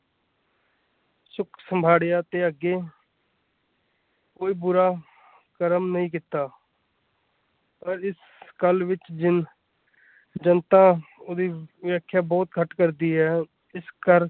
ਸੰਘਰਸ਼ ਸੰਘਾੜਿਆ ਤੇ ਅੱਗੇ ਕੋਈ ਬੁਰਾ ਕਰਮ ਨਹੀਂ ਕੀਤਾ ਪਰ ਇਸ ਗੱਲ ਵਿੱਚ ਜਨਤਾ ਉਹਦੀ ਵਿਆਖਿਆ ਬਹੁਤ ਘੱਟ ਕਰਦੀ ਏ।